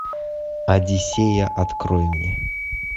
одиссея открой мне